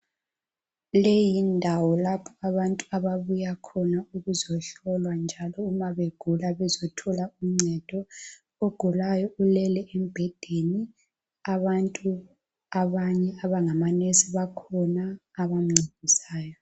Leyi yindawo lapho abantu ababuya khona ukuzohlolwa njalo uma begula bezothola uncedo. Ogulayo ulele embhedeni abantu abanye abangomongikazi bakhona abamncedisayo.